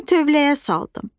Onu tövləyə saldım.